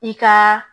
I ka